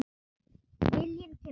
Viljinn kemur á óvart.